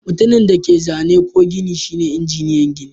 Mutumin da yake zane ko gini shine injiniyan gini.